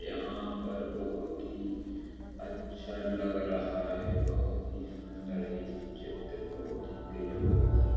यहाँ पर बहुत ही अच्छा लग रहा है। बहुत ही सुन्दर है ये चित्र बहुत ही गज़ब है।